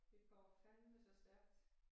Det går fandeme så stærkt